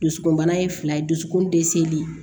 Dusukunbana ye fila ye dusukun dɛsɛli